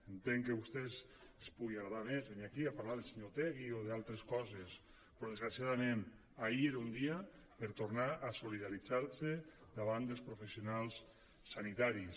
entenc que a vostès els pugui agradar més venir aquí a parlar del senyor otegui o d’altres coses però desgraciadament ahir era un dia per tornar a solidaritzar se davant dels professionals sanitaris